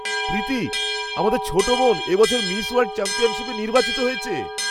প্রীতি! আমাদের ছোট বোন এ বছর মিস ওয়ার্ল্ড চ্যাম্পিয়নশিপে নির্বাচিত হয়েছে!